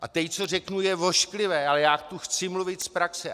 A teď, co řeknu, je ošklivé, ale já tu chci mluvit z praxe.